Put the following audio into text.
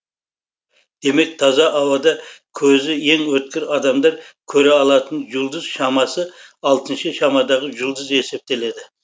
демек таза ауада көзі ең өткір адамдар көре алатын жұлдыз шамасы алтыншы шамадағы жұлдыз есептеледі